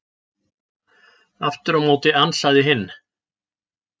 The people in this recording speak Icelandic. Aftur á móti ansaði hinn: